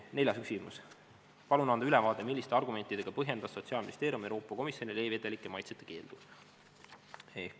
Neljas küsimus: "Palun anda täpne ülevaade, milliste argumentidega põhjendas Sotsiaalministeerium Euroopa Komisjonile e-vedelike maitsete keeldu?